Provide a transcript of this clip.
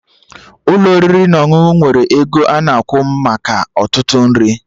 Ụlọ oriri na ọṅụṅụ nwere ego ana akwụ maka ọtụtụ nri